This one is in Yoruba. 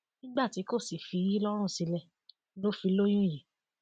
nígbà tí kò sì fi í lọrùn sílẹ ló fi lóyún yìí